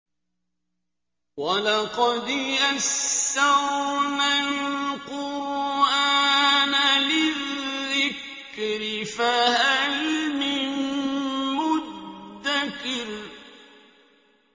وَلَقَدْ يَسَّرْنَا الْقُرْآنَ لِلذِّكْرِ فَهَلْ مِن مُّدَّكِرٍ